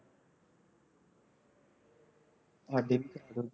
ਸਾਡੀ